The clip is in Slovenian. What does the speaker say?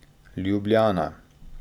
Ljubljana.